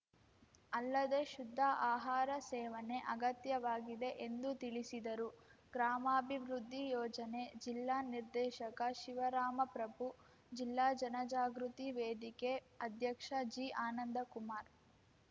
ಅಲ್ಲದೆ ಶುದ್ಧ ಆಹಾರ ಸೇವನೆ ಅಗತ್ಯವಾಗಿದೆ ಎಂದು ತಿಳಿಸಿದರು ಗ್ರಾಮಾಭಿವೃದ್ಧಿ ಯೋಜನೆ ಜಿಲ್ಲಾ ನಿರ್ದೇಶಕ ಶಿವರಾಮಪ್ರಭು ಜಿಲ್ಲಾ ಜನಜಾಗೃತಿ ವೇದಿಕೆ ಅಧ್ಯಕ್ಷ ಜಿ ಆನಂದಕುಮಾರ್‌